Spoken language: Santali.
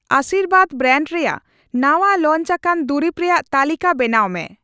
ᱟᱥᱤᱨᱵᱟᱟᱫ ᱵᱨᱟᱱᱰ ᱨᱮᱭᱟᱜ ᱱᱟᱸᱣᱟ ᱞᱚᱧᱡᱟᱠᱟᱱ ᱫᱩᱨᱤᱵ ᱨᱮᱭᱟᱜ ᱛᱟᱹᱞᱤᱠᱟ ᱵᱮᱱᱟᱣ ᱢᱮ ᱾